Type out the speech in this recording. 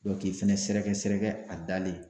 k'i fɛnɛ sɛrɛgɛsɛrɛgɛ a dalen